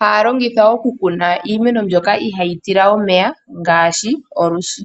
haya longitha okukuna iimeno mbyoka iha yi tila omeya ngaashi olwiishi.